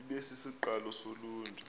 ibe sisiqalo soluntu